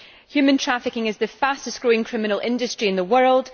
Human trafficking is the fastest growing criminal industry in the world